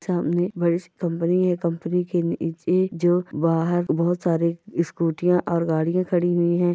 सामने बडीसी कंपनी है कंपनी के एक जो बाहर बहुत सारे स्कूटिया और गाड़िया खड़ी हुई है।